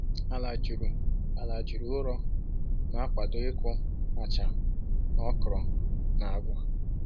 Ala juru Ala juru ụrọ na-akwado ịkụ acha na okra na agwa